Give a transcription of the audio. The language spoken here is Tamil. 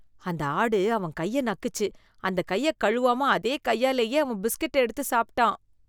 அந்த ஆடு அவன் கைய நக்குச்சு, அந்த கைய கழுவாம அதே கையாலயே அவன் பிஸ்கட்ட எடுத்து சாப்பிட்டான்